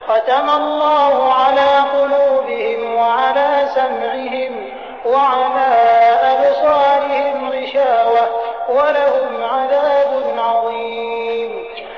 خَتَمَ اللَّهُ عَلَىٰ قُلُوبِهِمْ وَعَلَىٰ سَمْعِهِمْ ۖ وَعَلَىٰ أَبْصَارِهِمْ غِشَاوَةٌ ۖ وَلَهُمْ عَذَابٌ عَظِيمٌ